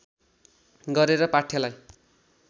गरेर पाठ्यलाई